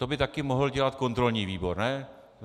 To by taky mohl dělat kontrolní výbor, ne?